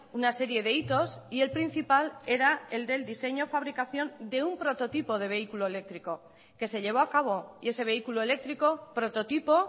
una serie de hitos y el principal era el del diseño fabricación de un prototipo de vehículo eléctrico que se llevó a cabo y ese vehículo eléctrico prototipo